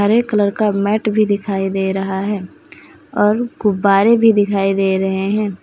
हरे colour का mat भी दिखाई दे रहा है और गुब्बारे भी दिखाई दे रहे हैं।